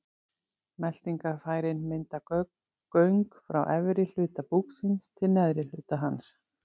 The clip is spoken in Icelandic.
Meltingarfærin mynda göng frá efri hluta búksins til neðri hlutar hans.